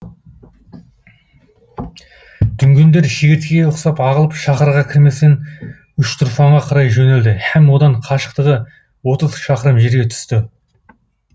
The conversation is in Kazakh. дүнгендер шегірткеге ұқсап ағылып шаһарға кірместен үштұрфанға қарай жөнелді һәм одан қашықтығы отыз шақырым жерге түсті